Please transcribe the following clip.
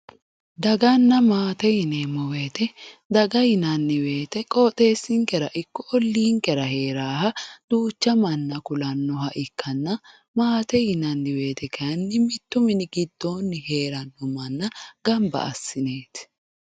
daganna maate yinanni wote daga yinanni wote qoxeessinkera ikko olliinkera heeraaha duucha manna kulannoha ikkanna maate yinanni wote kayiinni mittu mini giddoonni heerannoha gamba assineeti.